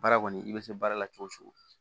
Baara kɔni i bɛ se baara la cogo o cogo